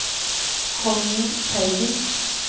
Connie Teigen